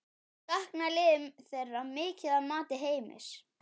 Saknaði liðið þeirra mikið að mati Heimis?